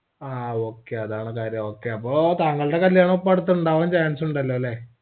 ആ okay അതാണ് കാര്യം okay അപ്പോ താങ്കൾടെ കല്യാണം അപ്പൊ അട്ത്ത് ഉണ്ടാവാൻ chance ഉണ്ടല്ലോല്ലേ